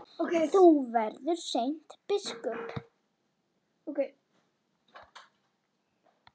Þú verður seint biskup!